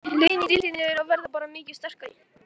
Liðin í deildinni eru að verða bara mikið sterkari.